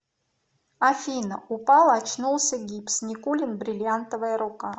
афина упал очнулся гипс никулин бриллиантовая рука